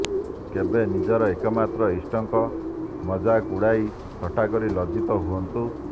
କେବେ ନିଜର ଏକମାତ୍ର ଇଷ୍ଟଙ୍କ ମଜାକ ଉଡାଇ ଥଟ୍ଟା କରି ଲଜ୍ଜିତ ହୁଅନ୍ତୁ